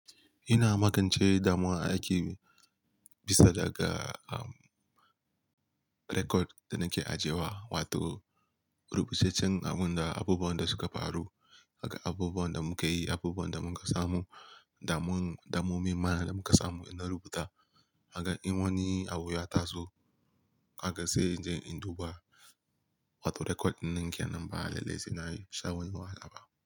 Ina makance damuwa a aiki bisa daga, um, rekod da nake ajewa wato rubucecen abun da abubuwan da suka faru, abubuwan da muka yi, abubuwan da muka samu, damu-damu mai ma da muka samu ina rubuta. Ka gan in wani abu ya taso, ka ga sai in je in duba wato rekod nake nan ba lallai sai na yi shawara a laba.